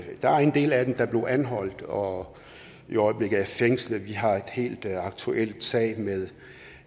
der er en del af dem der blev anholdt og i øjeblikket er fængslet vi har en helt aktuel sag med